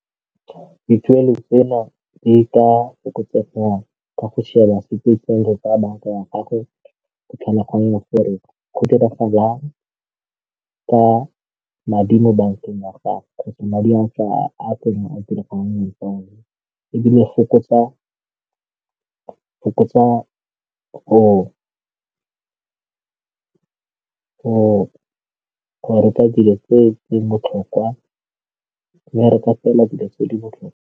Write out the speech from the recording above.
Dituelo tseno di ka fokotsega ka go sheba tseno tsa banka ya gago go tlhola gore go diragalang ka madi mo bankeng ya gago kgotsa madi a ntse a teng a diregang ebile fokotsa go reka dilo tse di botlhokwa ba reka fela dilo tse di botlhokwa.